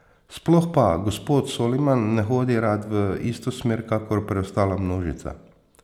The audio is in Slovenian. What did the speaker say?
Sploh pa, gospod Soliman ne hodi rad v isto smer kakor preostala množica.